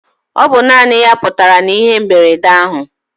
Ọ bụ naanị ya putara na ihe mberede ahụ.